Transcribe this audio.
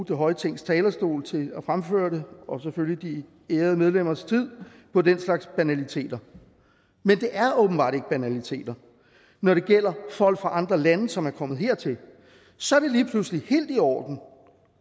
det høje tings talerstol til at fremføre det og selvfølgelig de ærede medlemmers tid på den slags banaliteter men det er åbenbart ikke banaliteter når det gælder folk fra andre lande som er kommet hertil så er det lige pludselig helt i orden